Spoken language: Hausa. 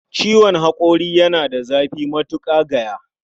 Ciwon haƙori yana da zafi matuƙa gaya